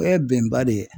O ye bɛnba de ye